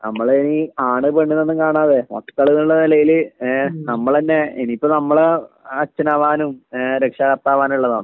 നമ്മളിനി ആണ് പെണ്ണ് എന്നൊന്നും കാണാതെ മക്കളെന്നുള്ള നിലയില് ഏ നമ്മളന്നെ ഇനി ഇപ്പോ നമ്മളും അച്ഛനാവാനും രക്ഷകർത്താവാകാനും ഉള്ളതാണ്